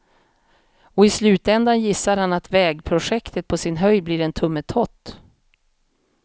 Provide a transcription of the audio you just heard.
Och i slutändan gissar han att vägprojektet på sin höjd blir en tummetott.